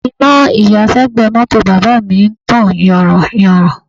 Iná ìyàṣẹ́gbẹ̀ẹ́ mọ́tò bàbá mi ń tàn yanran yanran